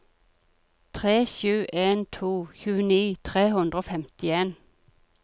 tre sju en to tjueni tre hundre og femtien